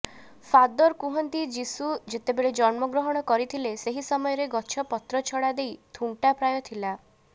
father କୁହନ୍ତି ଯିଶୁ ଯେତେବେଳେ ଜନ୍ମଗ୍ରହଣ କରିଥିଲେ ସେହି ସମୟରେ ଗଛ ପତ୍ରଛଡ଼ା ଦେଇ ଥୁଣ୍ଟା ପ୍ରାୟ ଥିଲା